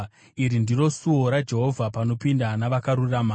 Iri ndiro suo raJehovha panopinda navakarurama.